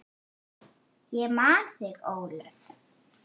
Ég man þig, Ólöf.